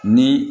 Ni